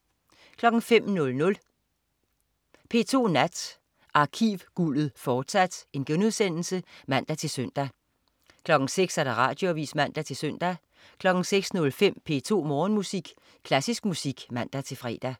05.00 P2 Nat. Arkivguldet, fortsat* (man-søn) 06.00 Radioavis (man-søn) 06.05 P2 Morgenmusik. Klassisk musik (man-fre)